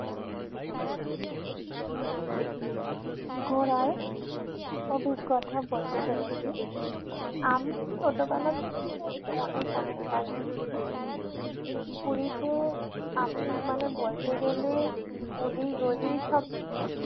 ঘোরার অভিজ্ঞতা বলতে চলেছি। আমি ছোটবেলা থেকেই পুরী অনেক অনেক বার গেছি। পুরীতে আমি মানে বলতে গেলে অলিগলি সব চিনি।